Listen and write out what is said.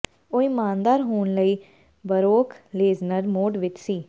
ਉਹ ਇਮਾਨਦਾਰ ਹੋਣ ਲਈ ਬਰੌਕ ਲੇਜ਼ਨਰ ਮੋਡ ਵਿਚ ਸੀ